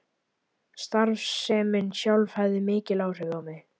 Starfsemin sjálf hafði mikil áhrif á mig.